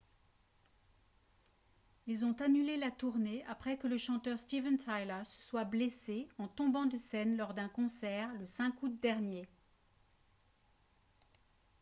ils ont annulé la tournée après que le chanteur steven tyler se soit blessé en tombant de scène lors d'un concert le 5 août dernier